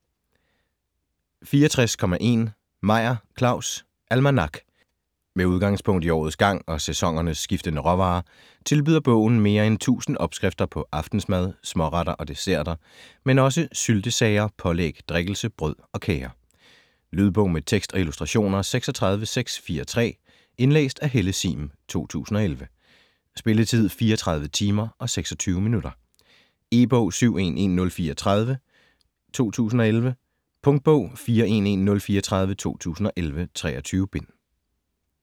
64.1 Meyer, Claus: Almanak Med udgangspunkt i årets gang og sæsonernes skiftende råvarer tilbyder bogen mere end 1000 opskrifter på aftensmad, småretter og desserter, men også syltesager, pålæg, drikkelse, brød og kager. Lydbog med tekst og illustrationer 36643 Indlæst af Helle Sihm, 2011. Spilletid: 34 timer, 26 minutter. E-bog 711034 2011. Punktbog 411034 2011. 23 bind.